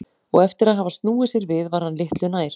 Og eftir að hafa snúið sér við var hann litlu nær.